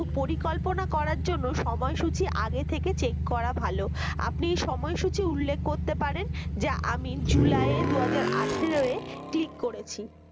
পরিকল্পনা করার জন্য সময়সূচি আগে থেকে check করা ভালো আপনি সময়সূচী উল্লেখ করতে পারেন যে আমি july য়ে দু হাজার আঠারো এ ঠিক করেছি